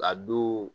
A du